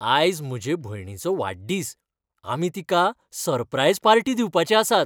आयज म्हजे भयणीचो वाडदीस. आमी तिका सरप्राईज पार्टी दिवपाचे आसात.